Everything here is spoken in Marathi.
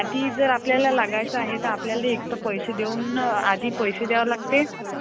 तर हे यांच म्हणजे मराठीमध्ये त्याला संगणकाची कार्यप्रणाली म्हणतात.